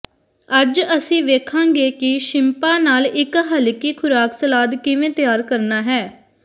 ਅੱਜ ਅਸੀਂ ਵੇਖਾਂਗੇ ਕਿ ਸ਼ਿੰਪਾਂ ਨਾਲ ਇੱਕ ਹਲਕੀ ਖੁਰਾਕ ਸਲਾਦ ਕਿਵੇਂ ਤਿਆਰ ਕਰਨਾ ਹੈ